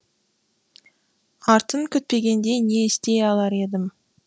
артын күтпегенде не істей алар едім